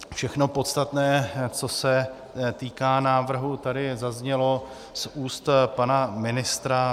Všechno podstatné, co se týká návrhu, tady zaznělo z úst pana ministra.